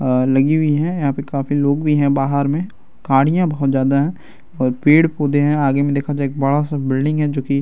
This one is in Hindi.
अ लगी हुई है यहाँ पे काफी लोग भी हैं बाहर में गाड़ियां बहुत ज्यादा है और पेड-पौधे है आगे में देखा जाये एक बड़ा-सा बिल्डिंग है जोकि --